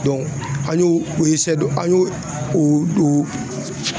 an y'o o an y'o o